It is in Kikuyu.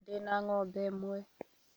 Ndĩ na ng'ombe ĩmwe